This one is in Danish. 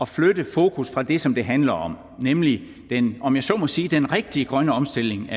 flytte fokus fra det som det handler om nemlig den om jeg så må sige rigtige grønne omstilling